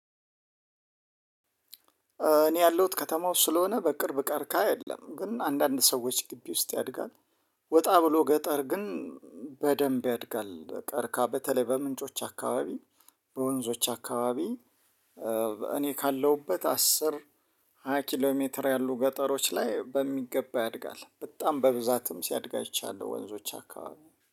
እኔ ያለሁት ከተማ ውስጥ ስለሆነ በቅርብ ቀርከሃ የለም ግን አንዳንድ ሰዎች ግቢ ውስጥ ያድጋል። ወጣ ብሎ ገጠር ግን በደንብ ያድጋል። ቀርከሃ በተለይ በምንጮች አካባቢ በወንዞች አካባቢ። እኔ ካለሁበት አስር ሃያ ኪሎ ሜትር ያሉ ገጠሮች ላይ በሚገባ ያድጋል በጣም በብዛትም ሲያድግ አይቻለሁ። ወንዞች አካባቢ